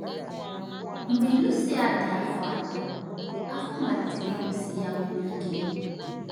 Mgbe Lucía dị afọ anọ, afọ malitere igbusi ya mgbu ike.